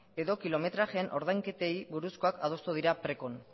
edo kilometrajeen ordainketei buruzkoak adostu dira precon